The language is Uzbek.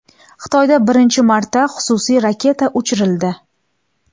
Xitoyda birinchi marta xususiy raketa uchirildi .